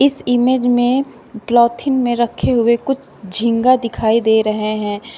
इस इमेज में पलाथिन में रखे हुए कुछ झींगा दिखाई दे रहे हैं।